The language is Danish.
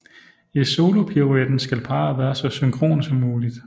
I solopiruetten skal parret være så synkrone som muligt